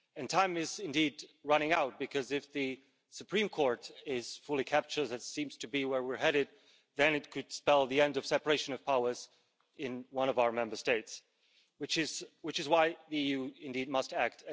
Time is indeed running out because, if the Supreme Court is fully captured, which seems to be where we are headed, then it could spell the end of the separation of powers in one of our Member States. This is why the EU must indeed act.